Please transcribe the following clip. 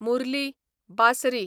Murali, Bansari